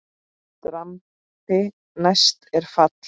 Drambi næst er fall.